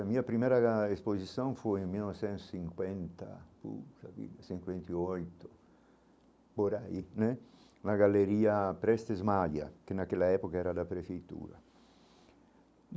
A minha primeira exposição foi em mil novecentos e cinquenta puxa vida cinquenta e oito, por aí né, na galeria Prestes-Maglia, que naquela época era da prefeitura.